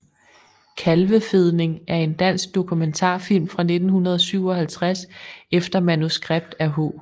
Kalvefedning er en dansk dokumentarfilm fra 1957 efter manuskript af H